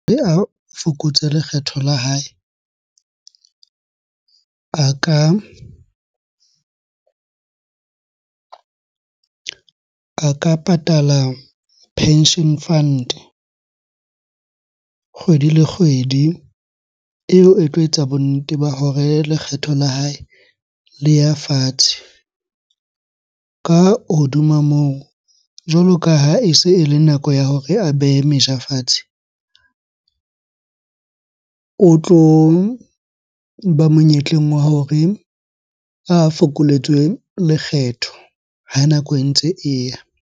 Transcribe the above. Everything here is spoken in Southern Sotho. Fokotse lekgetho la hae a ka patala pension fund kgwedi le kgwedi eo e tlo etsa bonnete ba hore lekgetho la hae le ya fatshe. Ka hodima moo, jwalo ka ha e se ele nako e ya hore a behe meja fatshe, o tloba monyetleng wa hore a fokoletswe lekgetho ha nako e ntse e ya.